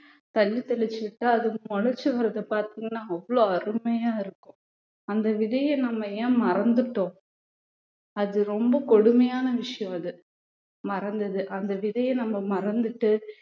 தண்ணி தெளிச்சு விட்டா அது முளைச்சு வர்றதை பார்த்தீங்கன்னா அவ்வளவு அருமையா இருக்கும் அந்த விதைய நம்ம ஏன் மறந்துட்டோம் அது ரொம்ப கொடுமையான விஷயம் அது மறந்தது அந்த விதைய நம்ம மறந்துட்டு